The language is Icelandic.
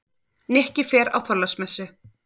Nikki fer á Þorláksmessu.